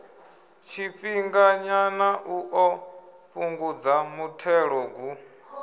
tshifhinganyana u ḓo fhungudza muthelogu